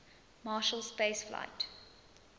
marshall space flight